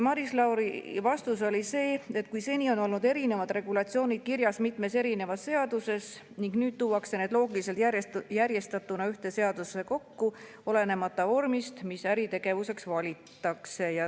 Maris Lauri vastus oli see, et kui seni on olnud erinevad regulatsioonid kirjas mitmes erinevas seaduses, siis nüüd tuuakse need loogiliselt järjestatuna ühte seadusesse kokku olenemata vormist, mis äritegevuseks valitakse.